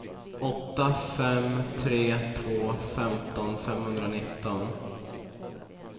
åtta fem tre två femton femhundranitton